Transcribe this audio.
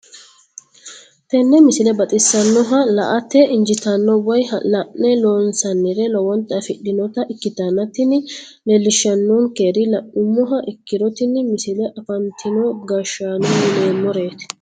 tenne misile baxisannonna la"ate injiitanno woy la'ne ronsannire lowote afidhinota ikkitanna tini leellishshannonkeri la'nummoha ikkiro tini misile afantino gashshaano yineemmoreeti.